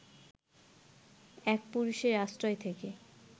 এক পুরুষের আশ্রয় থেকে